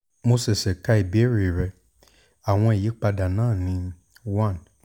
mo ṣẹ̀ṣẹ̀ ka ìbéèrè rẹ - àwọn ìyípadà náà ni one